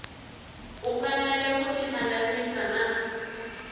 u fanele ku tihlanganisa na